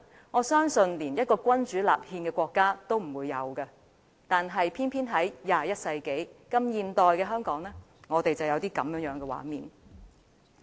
我相信，連一個君主立憲的國家也不會出現這種對白，卻偏偏出現在21世紀的香港。